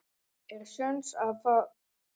Er séns á að það rigni á Íslandi á morgun?